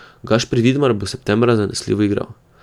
Gašper Vidmar bo septembra zanesljivo igral.